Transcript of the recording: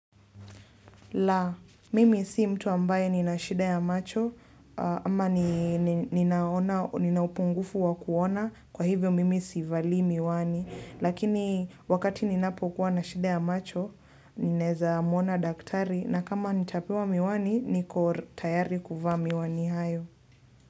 La, mimi si mtu ambaye nina shida ya macho ama nina upungufu wa kuona kwa hivyo mimi si valii miwani. Lakini wakati ninapokuwa na shida ya macho, ninaeza mwona daktari na kama nitapewa miwani, niko tayari kuvaa miwani hayo.